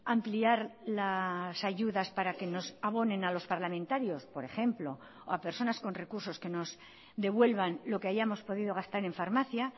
ampliar las ayudas para que nos abonen a los parlamentarios por ejemplo o a personas con recursos que nos devuelvan lo que hayamos podido gastar en farmacia